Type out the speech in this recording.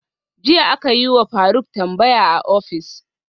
Jiya akayiwa faruk tambaya a office